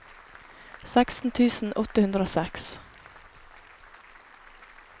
seksten tusen åtte hundre og seks